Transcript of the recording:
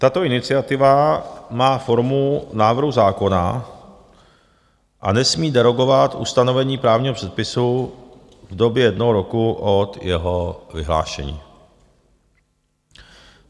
Tato iniciativa má formu návrhu zákona a nesmí derogovat ustanovení právního předpisu v době jednoho roku od jeho vyhlášení.